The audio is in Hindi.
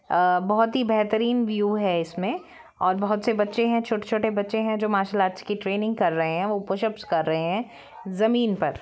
अ बहुत ही बेहतरीन व्यू है इसमें और बहुत से बच्चे है छोटे छोटे बच्चे है जो मार्शल आर्ट्स की ट्रेनिंग कर रहे है वो पुशअप्स कर रहे है जमीन पर।